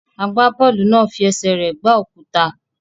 Agbábọ́ọ̀lù náà fi ẹsẹ̀ rẹ̀ gbá òkúta.